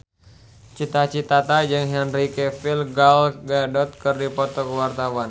Cita Citata jeung Henry Cavill Gal Gadot keur dipoto ku wartawan